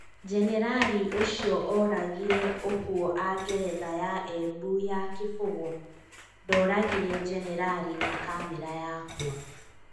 Generari ũcio ũragirĩ ũhũo a geretha ya Embu ya Kibugũ. Ndoragirĩ generari na kamera yakwa